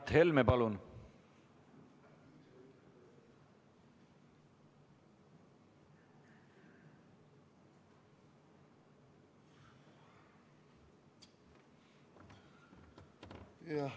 Mart Helme, palun!